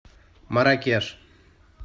марракеш